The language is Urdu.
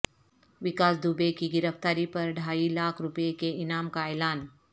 وکاس دوبے کی گرفتاری پر ڈھائی لاکھ روپئے کے انعام کا اعلان